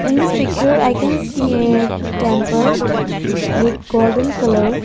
In this picture I can see a temple with golden colour.